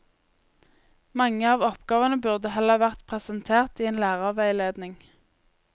Mange av oppgavene burde heller vært presentert i en lærerveiledning.